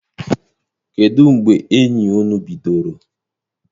Kedụ mgbe enyi ụnu bidoro?